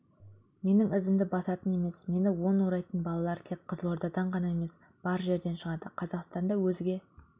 менің ізімді басатын емес мені он орайтын балалар тек қызылордадан емес бар жерден шығады қазақстанды өзге